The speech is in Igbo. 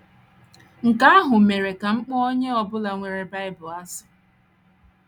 Nke ahụ mere ka m kpọọ onye ọ bụla nwere Bible asị.